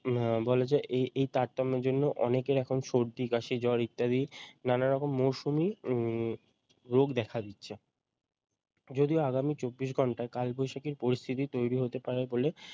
বলে যে এই এই তারতম্যের জন্য অনেকের এখন সর্দি কাশি জ্বর ইত্যাদি নানা রকম মরশুমি উম রোগ দেখা দিচ্ছে যদিও আগামী চব্বিশ ঘণ্টায় কালবৈশাখীর পরিস্থিতি তৈরি হতে পারে বলে